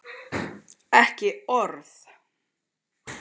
Ekki orð!